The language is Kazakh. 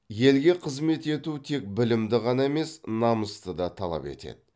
елге қызмет ету тек білімді ғана емес намысты да талап етеді